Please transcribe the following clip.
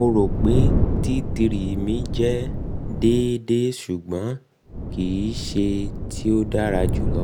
mo ro pe t three mi jẹ mi jẹ deede ṣugbọn kii ṣe ti o dara julọ